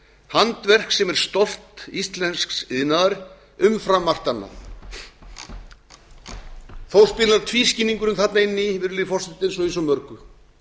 handverk sem er stolt íslensks iðnaðar umfram margt annað þó spilar tvískinnungurinn þarna inn í virðulegi forseti eins og í svo mörgu